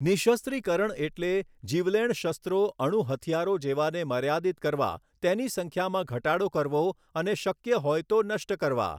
નિઃશસ્ત્રીકરણ એટલે જીવલેણ શસ્ત્રો અણુ હથિયારો જેવાને મર્યાદિત કરવા તેની સંખ્યામાં ઘટાડો કરવો અને શક્ય હોય તો નષ્ટ કરવા.